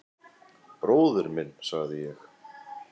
Bróðir minn, sagði ég.